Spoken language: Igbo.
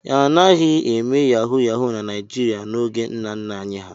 A naghị eme Yahu Yahu na Naịjịrịa n'oge nna nna anyị ha.